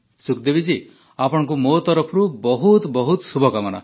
ସୁଖଦେବୀ ଜୀ ଆପଣଙ୍କୁ ମୋ ତରଫରୁ ବହୁତ ବହୁତ ଶୁଭକାମନା